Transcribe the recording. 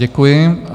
Děkuji.